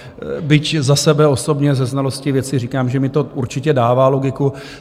Byť za sebe osobně ze znalosti věci říkám, že mi to určitě dává logiku.